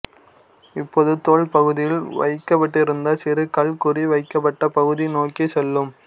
இப்போது தோல் பகுதியில் வைக்கப்பட்டிருந்த சிறு கல் குறி வைக்கப்பட்ட பகுதி நோக்கிச் செல்லும்